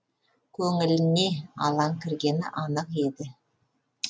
көңіліне алаң кіргені анық еді